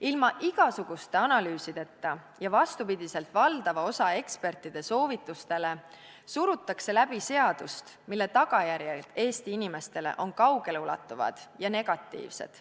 Ilma igasuguste analüüsideta ja vastupidi valdava osa ekspertide soovitustele surutakse läbi seadust, mille tagajärjed Eesti inimestele on kaugeleulatuvad ja negatiivsed.